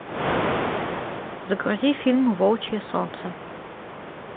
загрузи фильм волчье солнце